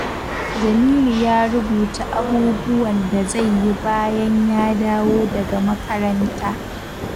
Jamilu ya rubuta abubuwan da zai yi bayan ya dawo daga makaranta.